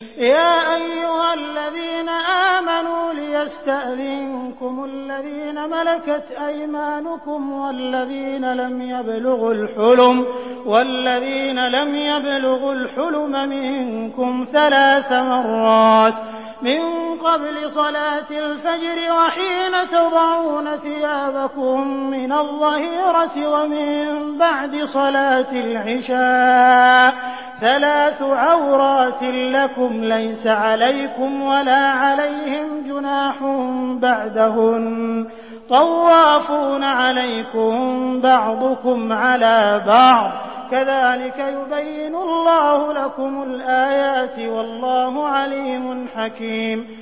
يَا أَيُّهَا الَّذِينَ آمَنُوا لِيَسْتَأْذِنكُمُ الَّذِينَ مَلَكَتْ أَيْمَانُكُمْ وَالَّذِينَ لَمْ يَبْلُغُوا الْحُلُمَ مِنكُمْ ثَلَاثَ مَرَّاتٍ ۚ مِّن قَبْلِ صَلَاةِ الْفَجْرِ وَحِينَ تَضَعُونَ ثِيَابَكُم مِّنَ الظَّهِيرَةِ وَمِن بَعْدِ صَلَاةِ الْعِشَاءِ ۚ ثَلَاثُ عَوْرَاتٍ لَّكُمْ ۚ لَيْسَ عَلَيْكُمْ وَلَا عَلَيْهِمْ جُنَاحٌ بَعْدَهُنَّ ۚ طَوَّافُونَ عَلَيْكُم بَعْضُكُمْ عَلَىٰ بَعْضٍ ۚ كَذَٰلِكَ يُبَيِّنُ اللَّهُ لَكُمُ الْآيَاتِ ۗ وَاللَّهُ عَلِيمٌ حَكِيمٌ